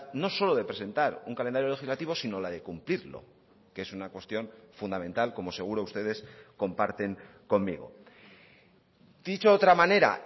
no solo de presentar un calendario legislativo sino la de cumplirlo que es una cuestión fundamental como seguro ustedes comparten conmigo dicho de otra manera